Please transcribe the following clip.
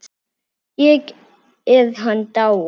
Er hann dáinn?